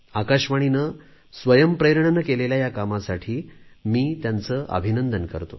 आकाशवाणीने स्वयंप्रेरणेने केलेल्या या कामासाठी त्यांचे अभिनंदन करतो